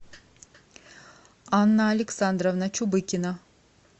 анна александровна чубыкина